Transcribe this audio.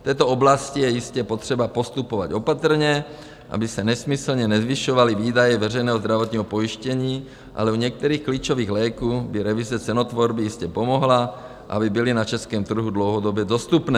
V této oblasti je jistě potřeba postupovat opatrně, aby se nesmyslně nezvyšovaly výdaje veřejného zdravotního pojištění, ale u některých klíčových léků by revize cenotvorby jistě pomohla, aby byly na českém trhu dlouhodobě dostupné.